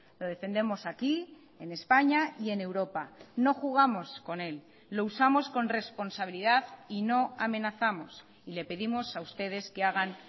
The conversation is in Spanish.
lo defendemos aquí en españa y en europa no jugamos con él lo usamos con responsabilidad y no amenazamos y le pedimos a ustedes que hagan